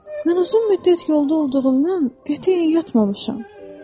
Mən uzun müddət yolda olduğumdan qətiyyən yatmamışam."